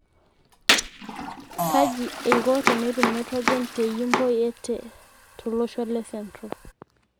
Kaji eiko tenetum naitrojen te Yimbo ye TE tolosho le central